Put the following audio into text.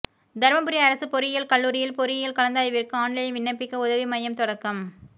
தர்மபுரி அரசு பொறியியல் கல்லூரியில் பொறியியல் கலந்தாய்விற்கு ஆன்லைனில் விண்ணப்பிக்க உதவி மையம் தொடக்கம்